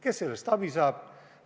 Kes sellest abi saab?